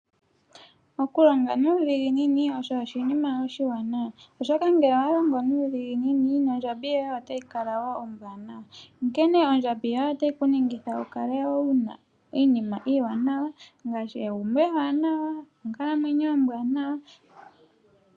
Okulonga nuudhiginini osho oshinima oshiwanawa, oshoka ngele owa longo nuudhiginini, nondjambi yoye otayi kala wo ombwaanawa. Onkene ano ondjabi yoye otayi ku ningitha wu kale wu na iinima iiwanawa ngaashi egumbo ewanawa nonkalamwenyo ombwaanawa.